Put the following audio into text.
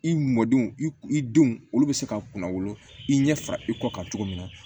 I m mɔdenw i denw olu be se ka kunna wolo i ɲɛ fara i kɔ kan cogo min na